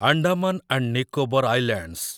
Andaman and Nicobar islands